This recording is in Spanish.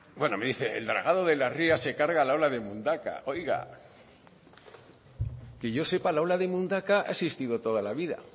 bueno me dice que el dragado de la ría se carga la ola de mundaka oiga que yo sepa la ola de mundaka ha existido toda la vida